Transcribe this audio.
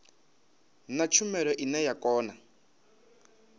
na tshumelo ine ya kona